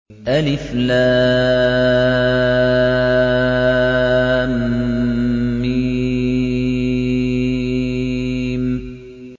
الم